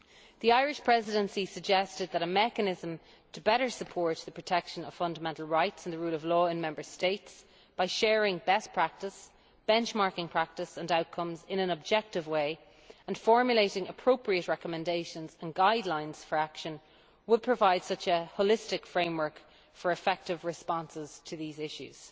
The Irish Presidency suggested that a mechanism to better support protection of fundamental rights and the rule of law in Member States, by sharing best practice, benchmarking practice and outcomes in an objective way and formulating appropriate recommendations and guidelines for action, would provide such a holistic framework for effective responses to these issues.